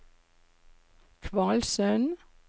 Kvalsund